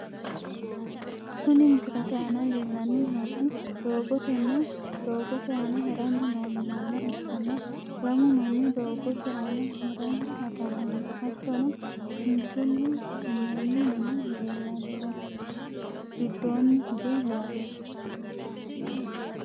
Kuni misilete aana leellanni noohu doogotenna doogote aana haranni noo manna ikkanna, lamu manni doogote aana haranni afamanno hattono kinchunni minnoonni mini leellanno giddoonni hige yaate.